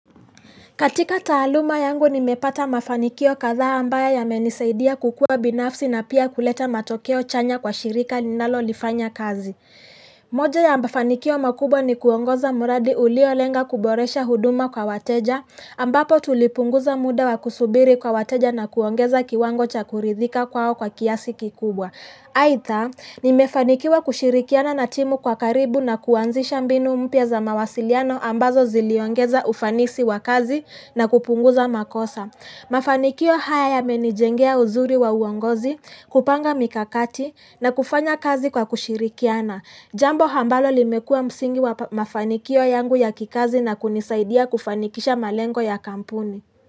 Katika taaluma yangu nimepata mafanikio kadhaa ambayo ya menisaidia kukua binafsi na pia kuleta matokeo chanya kwa shirika ninalo lifanya kazi. Moja ya mafanikio makubwa ni kuongoza muradi ulio lenga kuboresha huduma kwa wateja, ambapo tulipunguza muda wa kusubiri kwa wateja na kuongeza kiwango cha kuridhika kwao kwa kiasi kikubwa. Haitha, nimefanikiwa kushirikiana na timu kwa karibu na kuanzisha mbinu mpya za mawasiliano ambazo ziliongeza ufanisi wa kazi na kupunguza makosa. Mafanikio haya ya menijengea uzuri wa uongozi, kupanga mikakati na kufanya kazi kwa kushirikiana. Jambo hambalo limekua msingi wa mafanikio yangu ya kikazi na kunisaidia kufanikisha malengo ya kampuni.